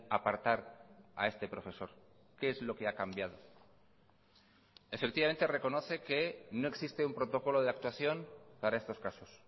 apartar a este profesor qué es lo que ha cambiado efectivamente reconoce que no existe un protocolo de actuación para estos casos